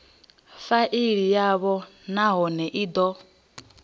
faili yavho nahone i do